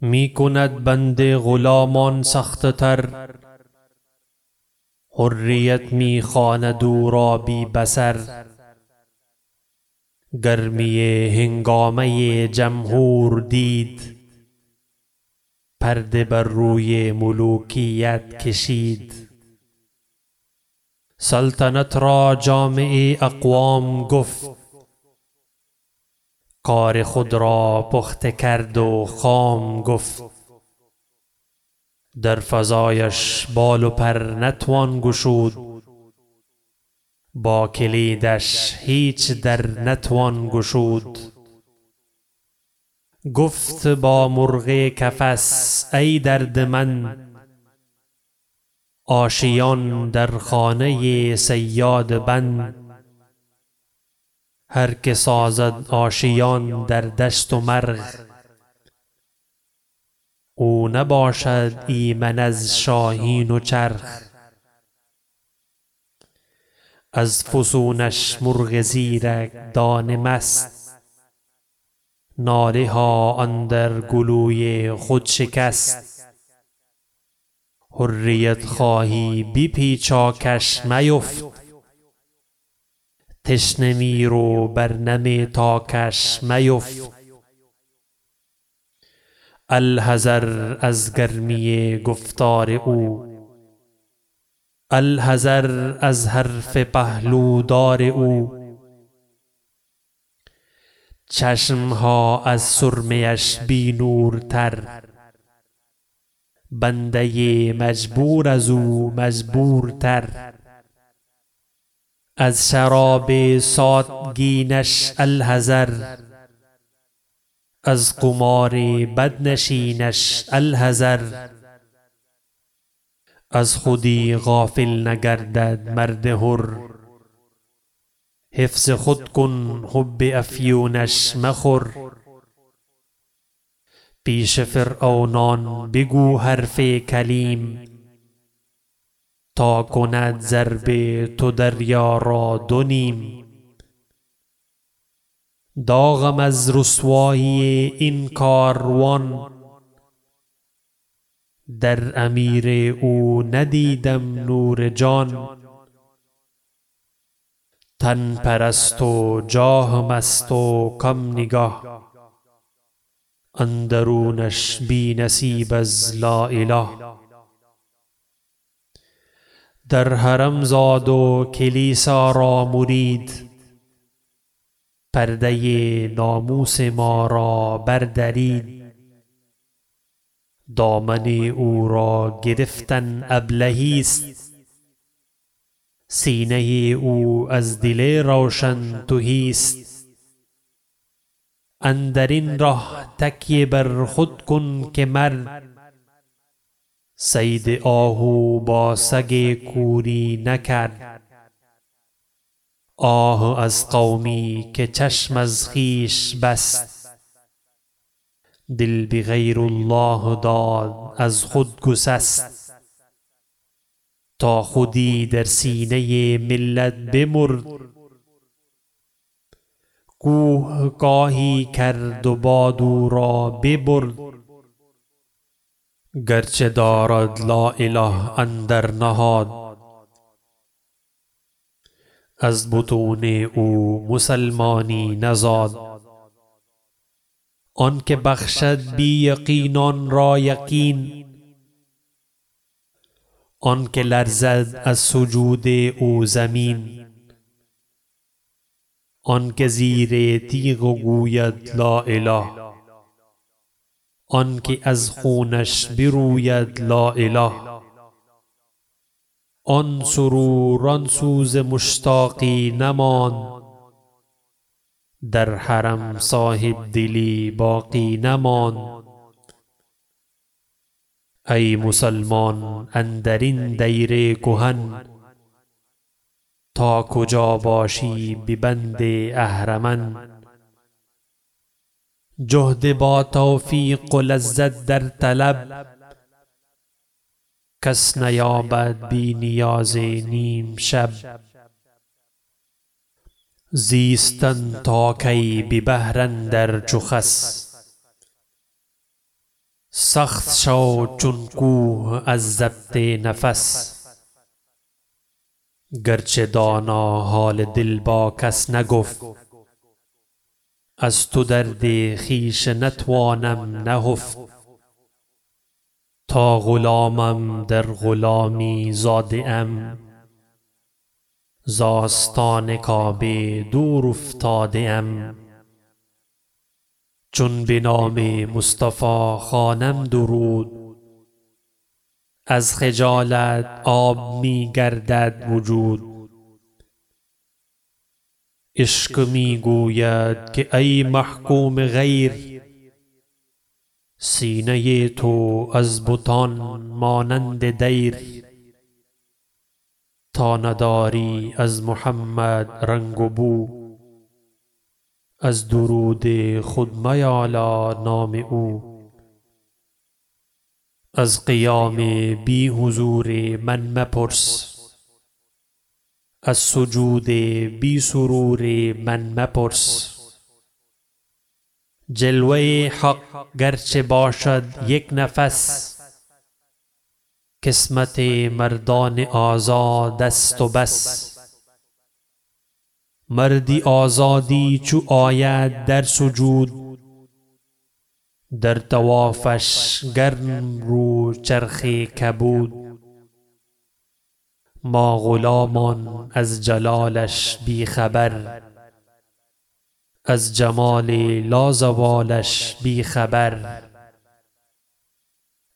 می کند بند غلامان سخت تر حریت می خواند او را بی بصر گرمی هنگامه جمهور دید پرده بر روی ملوکیت کشید سلطنت را جامع اقوام گفت کار خود را پخته کرد و خام گفت در فضایش بال و پر نتوان گشود با کلیدش هیچ در نتوان گشود گفت با مرغ قفس ای دردمند آشیان در خانه صیاد بند هر که سازد آشیان در دشت و مرغ او نباشد ایمن از شاهین و چرغ از فسونش مرغ زیرک دانه مست ناله ها اندر گلوی خود شکست حریت خواهی به پیچاکش میفت تشنه میر و بر نم تاکش میفت الحذر از گرمی گفتار او الحذر از حرف پهلو دار او چشم ها از سرمه اش بی نور تر بنده مجبور ازو مجبور تر از شراب ساتگینش الحذر از قمار بدنشینش الحذر از خودی غافل نگردد مرد حر حفظ خود کن حب افیونش مخور پیش فرعونان بگو حرف کلیم تا کند ضرب تو دریا را دونیم داغم از رسوایی این کاروان در امیر او ندیدم نور جان تن پرست و جاه مست و کم نگه اندرونش بی نصیب از لااله در حرم زاد و کلیسا را مرید پرده ناموس ما را بر درید دامن او را گرفتن ابلهی است سینه او از دل روشن تهی است اندرین ره تکیه بر خود کن که مرد صید آهو با سگ کوری نکرد آه از قومی که چشم از خویش بست دل به غیر الله داد از خود گسست تا خودی در سینه ملت بمرد کوه کاهی کرد و باد او را ببرد گرچه دارد لااله اندر نهاد از بطون او مسلمانی نزاد آنکه بخشد بی یقینان را یقین آنکه لرزد از سجود او زمین آنکه زیر تیغ گوید لااله آنکه از خونش بروید لااله آن سرور آن سوز مشتاقی نماند در حرم صاحبدلی باقی نماند ای مسلمان اندرین دیر کهن تا کجا باشی به بند اهرمن جهد با توفیق و لذت در طلب کس نیابد بی نیاز نیم شب زیستن تا کی به بحر اندر چو خس سخت شو چون کوه از ضبط نفس گرچه دانا حال دل با کس نگفت از تو درد خویش نتوانم نهفت تا غلامم در غلامی زاده ام ز آستان کعبه دور افتاده ام چون بنام مصطفی خوانم درود از خجالت آب می گردد وجود عشق میگوید که ای محکوم غیر سینه تو از بتان مانند دیر تا نداری از محمد رنگ و بو از درود خود میالا نام او از قیام بی حضور من مپرس از سجود بی سرور من مپرس جلوه حق گرچه باشد یک نفس قسمت مردان آزاد است و بس مردی آزادی چو آید در سجود در طوافش گرم رو چرخ کبود ما غلامان از جلالش بیخبر از جمال لازوالش بیخبر